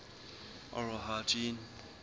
oral hygiene